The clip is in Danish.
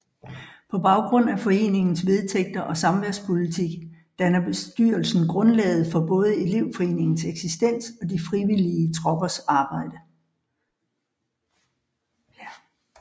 På baggrund af foreningens vedtægter og samværspolitik danner bestyrelsen grundlaget for både elevforeningens eksistens og de frivillige troppers arbejde